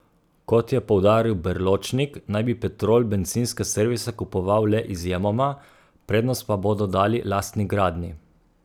Kot je poudaril Berločnik, naj bi Petrol bencinske servise kupoval le izjemoma, prednost pa bodo dali lastni gradnji.